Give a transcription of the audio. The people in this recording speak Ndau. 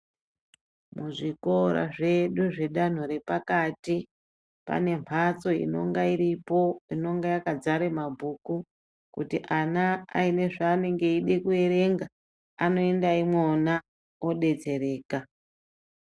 Muzvikora zvedu zvedanto repakati pane mphatso inonge iripo inonge yakadzara mabhuku. Kuti ana aine zveanenge eida kuerenga anoenda imwona odetsereka.